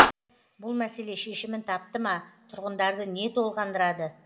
бұл мәселе шешімін тапты ма тұрғындарды не толғандырады